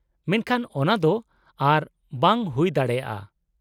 -ᱢᱮᱱᱠᱷᱟᱱ ᱚᱱᱟ ᱫᱚ ᱟᱨ ᱵᱟᱝ ᱦᱩᱭ ᱫᱟᱲᱮᱭᱟᱜᱼᱟ ᱾